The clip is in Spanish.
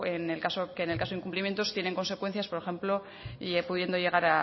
que en el caso de incumplimientos tienen consecuencias por ejemplo pudiendo llegar